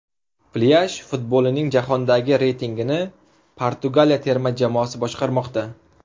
Plyaj futbolining jahondagi reytingini Portugaliya terma jamoasi boshqarmoqda.